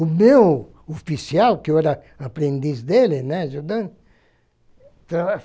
O meu oficial, que eu era aprendiz dele, né, Jordan?